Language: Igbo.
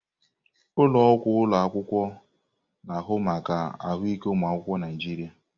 Ụlọ ọgwụ ụlọ akwụkwọ na-ahụ maka ahụike ụmụ akwụkwọ Naijiria.